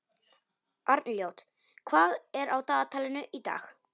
Arnljót, hvað er á dagatalinu í dag?